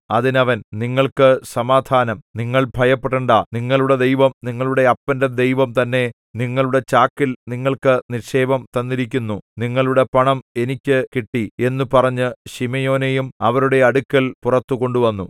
അതിന് അവൻ നിങ്ങൾക്ക് സമാധാനം നിങ്ങൾ ഭയപ്പെടേണ്ടാ നിങ്ങളുടെ ദൈവം നിങ്ങളുടെ അപ്പന്റെ ദൈവം തന്നെ നിങ്ങളുടെ ചാക്കിൽ നിങ്ങൾക്ക് നിക്ഷേപം തന്നിരിക്കുന്നു നിങ്ങളുടെ പണം എനിക്ക് കിട്ടി എന്നു പറഞ്ഞ് ശിമെയോനെയും അവരുടെ അടുക്കൽ പുറത്തു കൊണ്ടുവന്നു